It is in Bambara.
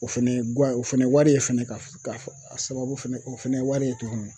O fɛnɛ ye guwa ye o fɛnɛ ye wari fɛnɛ ka fɔ ka fɔ a sababu fɛnɛ o fɛnɛ ye wari ye tuguni.